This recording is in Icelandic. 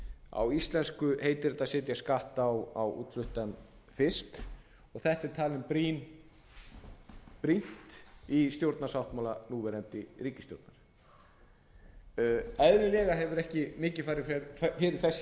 á íslensku heitir þetta að setja skatt á útfluttan fisk og þetta er talið brýnt í stjórnarsáttmála núverandi ríkisstjórnar eðlilega hefur ekki mikið farið fyrir þessu í